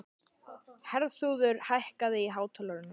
Herþrúður, hækkaðu í hátalaranum.